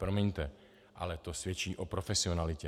Promiňte, ale to svědčí o profesionalitě.